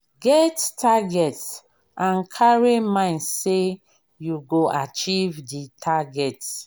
get target and carry mind sey you go achieve di target